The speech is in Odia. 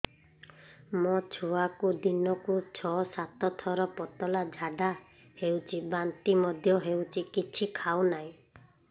ମୋ ଛୁଆକୁ ଦିନକୁ ଛ ସାତ ଥର ପତଳା ଝାଡ଼ା ହେଉଛି ବାନ୍ତି ମଧ୍ୟ ହେଉଛି କିଛି ଖାଉ ନାହିଁ